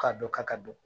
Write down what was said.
Ka dɔ ka ka dɔn